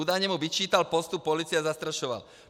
Údajně mu vyčítal postup policie a zastrašoval.